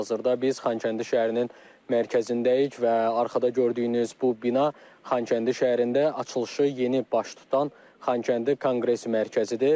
Hazırda biz Xankəndi şəhərinin mərkəzindəyik və arxada gördüyünüz bu bina Xankəndi şəhərində açılışı yeni baş tutan Xankəndi Konqres Mərkəzidir.